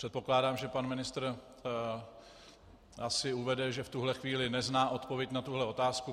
Předpokládám, že pan ministr asi uvede, že v tuto chvíli nezná odpověď na tuto otázku.